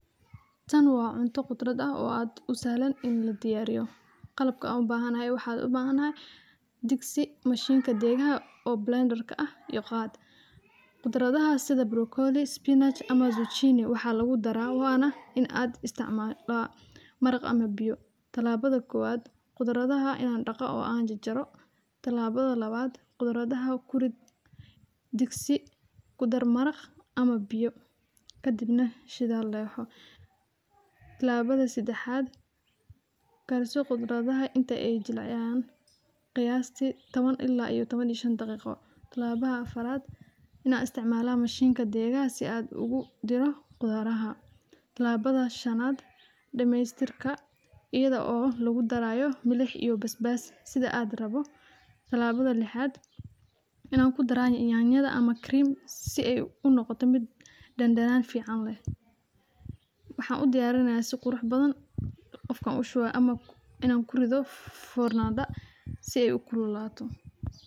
Tan waa cunto qudrad ah oo aad u saalaan in la diyaariyo. Qalabka u baahan ahay waxaad u baahan ahay digsi mashiinka deegaaga oo blender ka ah iyo qaad. Qudradaha sida broccoli, spinach ama zucchini waxaa lagu darayo waana in aad isticmalaa marakh ama biyo. Talaabada koowaad. Qudradaha in aan dhaqa oo aan jajaro. Talaabada labaad. Qudradaha kurid digsi, gudar marakh ama biyo. Kadibna shidaal loo yooxoo. Talaabada sidxaad. Gaarso qudradaha inta ay jilciyaan qiyaastii toban ilaa iyo toban iyo shan daqiiqo. Talaabada afaraad. Inaan isticmaalaa mashiinka deegaaga si aad ugu diro qudaarha. Talaabada shanaad. Dhammaystirka iyada oo lagu darayo milax iyo basbaas sida aad rabo. Talaabada lixaad. Inaan ku daraanyi inayaan nyada ama cream si ay u noqoto mid dandanaan fiican leh. Waxaan u diyaarinayaa si qurux badan qofka u shubo ama in aan korin doo fooranaada si ay u kululaato.